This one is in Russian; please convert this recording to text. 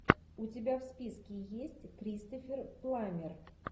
у тебя в списке есть кристофер пламмер